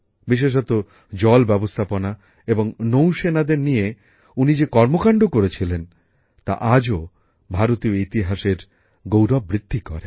বিশেষত জলব্যবস্থাপনা এবং নৌসেনাদের নিয়ে উনি যে কর্মকাণ্ড করেছিলেন তা আজও ভারতীয় ইতিহাসের গৌরব বৃদ্ধি করে